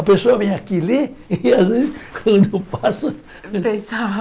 A pessoa vem aqui ler e às vezes quando eu passo... Pensava.